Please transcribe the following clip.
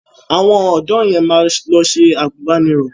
Àwọn ọ̀dọ̀ yẹn máa lọ ṣe àgùnbánirọ̀.